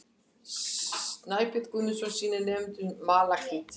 Snæbjörn Guðmundsson sýnir nemendum malakít.